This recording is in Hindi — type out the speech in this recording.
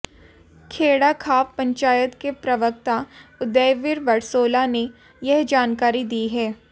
खेड़ा खाप पंचायत के प्रवक्ता उदयवीर बरसोला ने यह जानकारी दी है